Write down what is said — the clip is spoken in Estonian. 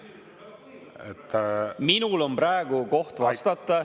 See on minu koht praegu vastata.